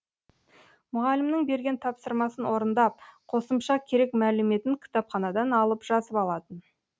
мұғалімнің берген тапсырмасын орындап қосымша керек мәліметін кітапханадан алып жазып алатын